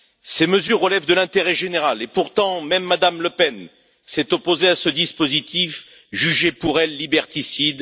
Ces mesures relèvent de l'intérêt général et, pourtant, même Mme Le Pen s'est opposée à ce dispositif qu'elle a jugé liberticide.